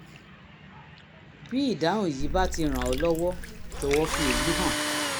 (bí ìdáhùn yìí bá ti ràn ẹ́ lọ́wọ́ jọ̀wọ́ fi èyí hàn